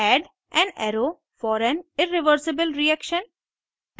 add an arrow for an irreversible reaction